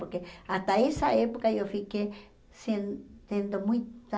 Porque até essa época eu fiquei sentindo muita...